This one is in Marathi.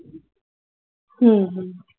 हम्म